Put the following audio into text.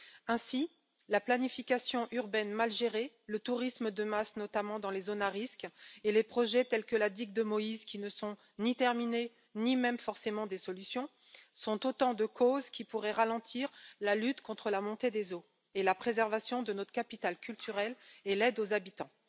Ainsi, la planification urbaine mal gérée, le tourisme de masse notamment dans les zones à risques et les projets tels que la digue de Moïse, qui ne sont ni terminés ni même forcément des solutions, sont autant de causes qui pourraient ralentir la lutte contre la montée des eaux, la préservation de notre capital culturel et l'aide aux habitants.